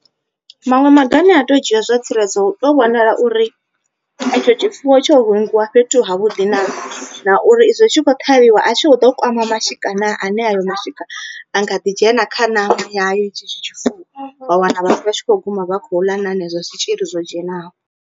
Maṅwe maga ane a to dzhia zwa tsireledzo u to vhonala uri etsho tshifuwo tsho hungiwa fhethu ha vhuḓi naa. Na uri izwo itshi kho ṱhavhiwa a tshi kho ḓo kwama mashika naa, ane hayo mashika a nga ḓi dzhena kha ṋama yayo etshi tshifuwo. Wa wana vhathu vha tshi kho guma vha khou ḽa na henezwo zwitzhili zwo dzhenaho.